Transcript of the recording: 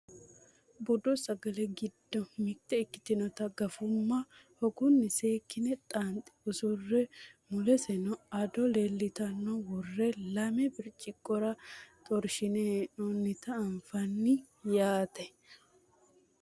Budu sagale giddo mitte ikkitinota gafumma hogunni seekkine xaanxe usurre muleseno ado elentote worre lame birciqqora xorshine hee'noonnita anfanni yaate